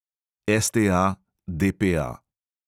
(STA, DPA).